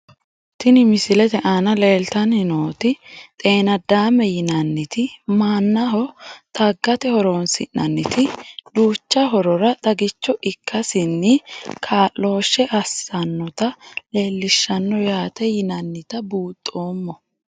Tini misilete aana leeltani nooti xeenadaame yinaniti manaho xagate horonisinaniti duucha horora xagicho ikasini kaaloshe asanota leelishanno yaate yinanita buunxoomo.